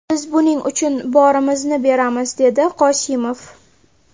Biz buning uchun borimizni beramiz”, − dedi Qosimov.